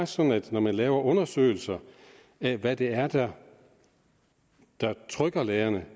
sådan at når man laver undersøgelser af hvad det er der trykker lærerne